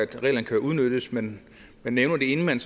kan udnyttes man nævner det inden man